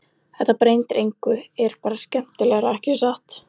Þetta breytir engu er bara skemmtilegra, ekki satt?